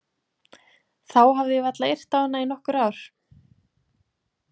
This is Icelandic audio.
Þá hafði ég varla yrt á hana í nokkur ár.